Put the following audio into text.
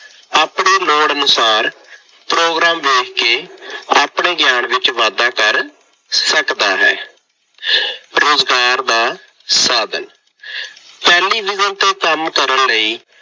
ਆਪਣੇ ਲੋੜ ਅਨੁਸਾਰ ਪ੍ਰੋਗਰਾਮ ਵੇਖ ਕੇ ਆਪਣੇ ਗਿਆਨ ਵਿੱਚ ਵਾਧਾ ਕਰ ਸਕਦਾ ਹੈ। ਰੁਜ਼ਗਾਰ ਦਾ ਸਾਧਨ- ਟੈਲੀਵਿਜ਼ਨ ਤੇ ਕੰਮ ਕਰਨ ਲਈ